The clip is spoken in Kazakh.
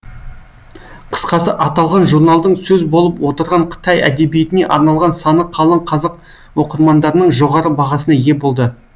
қысқасы аталған журналдың сөз болып отырған қытай әдебиетіне арналған саны қалың қазақ оқырмандарының жоғары бағасына ие болды